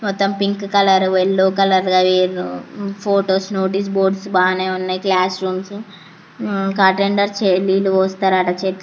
మొత్తం pink colour yellow colour వేసి photos notice board భానే ఉన్నాయి క్లాస్ రూమ్స్ ఉమ్ అటెండర్స్ వాళ్ళు వీళ్ళు వస్తారు --